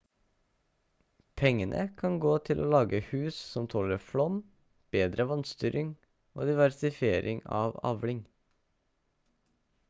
pengene kan gå til å lage hus som tåler flom bedre vannstyring og diversifisering av avling